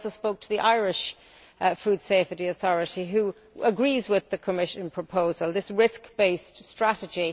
I also spoke to the Irish Food Safety Authority which agrees with the Commission proposal, this risk based strategy.